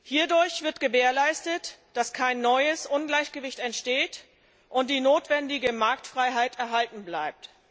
Hierdurch wird gewährleistet, dass kein neues Ungleichgewicht entsteht und die notwendige Marktfreiheit erhalten bleibt.